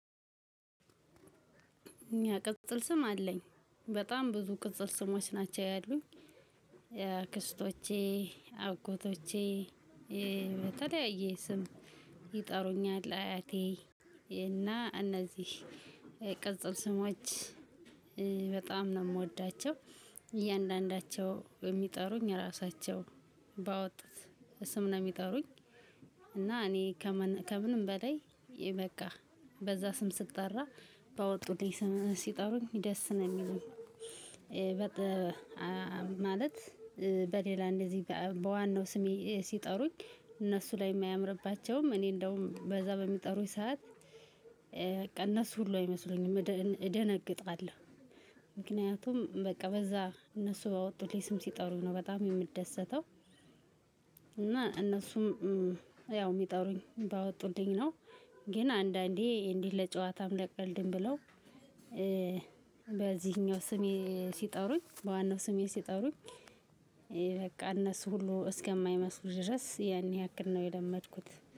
ያ ቅጽል ስም አለኝ። በጣም ብዙ ቅጽል ስሞች ናቸው ያሉኝ አክስቶቼ አጎቶቼ በተለያየ ስም ይጠሩኛል። አያቴ እና እነዚህ ቅጽል ስሞች በጣም ነው የምወዳቸው እያንዳንዳቸው የሚጠሩኝ እራሳቸው ባወጡት ስም ነው ሚጠሩኝ። እና እኔ ከምንም በላይ የበቃ በዛ ስም ስጠራ ባወጡልኝ ስም ሲጠሩኝ ደስ ነው ሚለኝ። በቃ ማለት በሌላ እንደዚህ በዋናው ስሜ ሲጠሩኝ እነሱ ላይም አያምርባቸውም እኔ እንደውም በዛ በሚጠሩኝ ሰዓት። እነሱ ሁሉ አይመስሉኝም እደነግጣለሁ። ምክንያቱም በቃ በዛ እነሱ ባወጡልኝ ስም ሲጠሩኝ ነው በጣም የምደሰተው። እና እነሱም ያው የሚጠሩኝ ባወጡልኝ ነው። ግን አንዳንዴ እንዲህ ለጨዋታም ለቀልድም ብለው በዚህኛው ስሜ ሲጠሩኝ በዋናው ስሜ ሲጠሩኝ በቃ እነሱ ሁሉ እስከማይመስሉ ድረስ ያን ያክል ነው። የለመድኩት